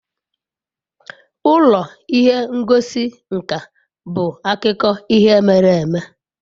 Ụlọ ihe ngosi nka bụ akụkọ ihe mere eme.